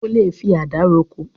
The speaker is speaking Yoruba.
O lè fi àdá roko.